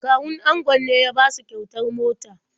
Kawun angon ne ya basu kyautar mota.